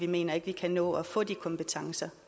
mener at vi kan nå at få de kompetencer